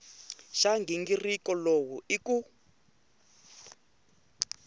xa nghingiriko lowu i ku